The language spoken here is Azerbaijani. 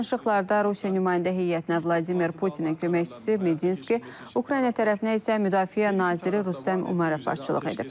Danışıqlarda Rusiya nümayəndə heyətinə Vladimir Putinin köməkçisi Medinski, Ukrayna tərəfinə isə müdafiə naziri Rüstəm Umərov başçılıq edib.